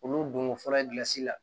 Olu donko fɔlɔ la